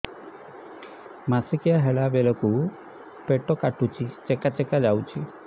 ମାସିକିଆ ହେଲା ବେଳକୁ ପେଟ କାଟୁଚି ଚେକା ଚେକା ଯାଉଚି